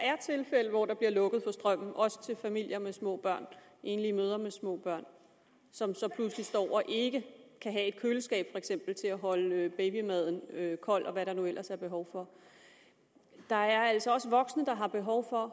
er tilfælde hvor der bliver lukket for strømmen også til familier med små børn og enlige mødre med små børn som så pludselig står og ikke kan have et køleskab til at holde babymaden kold og hvad der nu ellers er behov for der er altså også voksne der har behov for at